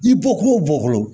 I bɔkolo bɔkolo